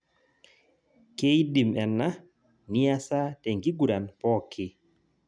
Keidim ena niasa tenkiguran pooki